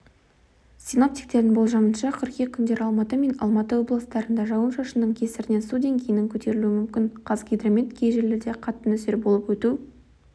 синоптиктердің болжамынша қыркүйек күндері алматы мен алматы облыстарында жауын-шашынның кесірінен су деңгейінің көтерілуі мүмкін қазгидромет кей жерлерде қатты нөсер болып өту